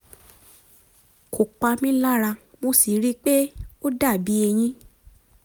um kò pa mí lára mo sì ríi pé ó dàbí eyín